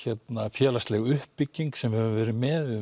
félagsleg uppbygging sem við höfum verið með